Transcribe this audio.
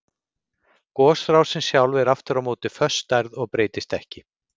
Gosrásin sjálf er aftur á móti föst stærð og breytist ekki.